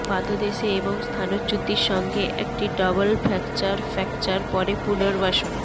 পাদদেশে এবং স্থানচ্যুতি সঙ্গে একটি ডবল ফ্র্যাকচার ফ্র্যাকচার পরে পুনর্বাসন